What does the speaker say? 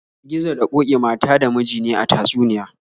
Gizo da ƙoki mata da miji ne a tatsuniya.